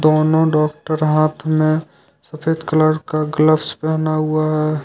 दोनों डॉक्टर हाथ में सफेद कलर का ग्लव्स पहना हुआ है।